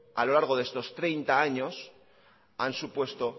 a lo largo de estos treinta años han supuesto